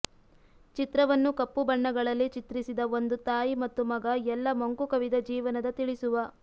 ಚಿತ್ರವನ್ನು ಕಪ್ಪು ಬಣ್ಣಗಳಲ್ಲಿ ಚಿತ್ರಿಸಿದ ಒಂದು ತಾಯಿ ಮತ್ತು ಮಗ ಎಲ್ಲಾ ಮಂಕುಕವಿದ ಜೀವನದ ತಿಳಿಸುವ